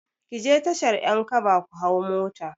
Ki je tashar 'yankaba ku hau mota.